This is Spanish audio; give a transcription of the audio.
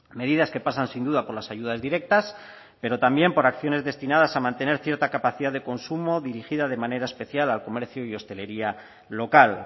medidas que pasan sin duda por las ayudas directas pero también por acciones destinadas a mantener cierta capacidad de consumo dirigida de manera especial al comercio y hostelería local